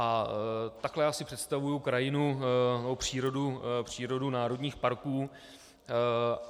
A takhle já si představuji krajinu nebo přírodu národních parků.